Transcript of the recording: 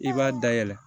I b'a dayɛlɛ